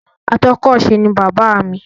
Atọ́kọ̀se ni bàbáà mi.